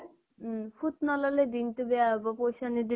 উম ফুত নললে দিন টো বেয়া হব পইচা নিদিলে